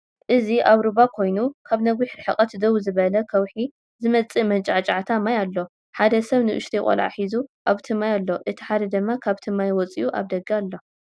እዚ አብ ሩባ ኮይኑ ካብ ነዊሕ ርሕቀት ደው ዝበለ ከውሒ ዝመፅእ መንጫዕጫዕታ ማይ አሎ ፡፡ ሓ ደ ሰብ ንኡሽተይ ቆልዓ ሒዙ አብቲ ማይ አሎ እቲ ሓደ ድማ ካብቲ ማይ ወፂኡ አብ ደገ አሎ፡፡